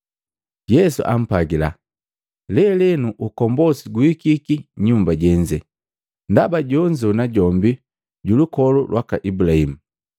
Yesu ampwagila, “Lelenu ukombosi guhikiki nyumba jenze, ndaba jonzo najombi julukolu lwaka Ibulahimu.